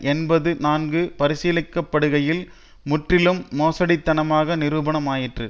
என்பது நன்கு பரிசீலிக்கப்படுகையில் முற்றிலும் மோசடித்தனமாக நிரூபணம் ஆயிற்று